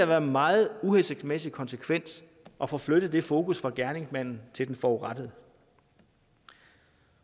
være en meget uhensigtsmæssig konsekvens at få flyttet det fokus fra gerningsmanden til den forurettede